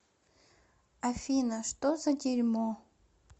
афина что за дерьмо